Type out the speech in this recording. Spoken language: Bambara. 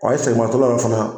e seginmatɔla la fana